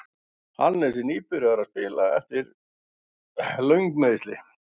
Hannes er nýbyrjaður að spila aftur eftir löng meiðsli.